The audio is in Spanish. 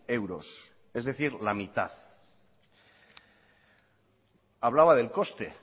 euros es decir la mitad hablaba del coste